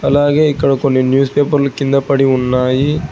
అలాగే ఇక్కడ కొన్ని న్యూస్ పేపర్లు కింద పడి ఉన్నాయి.